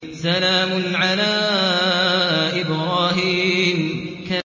سَلَامٌ عَلَىٰ إِبْرَاهِيمَ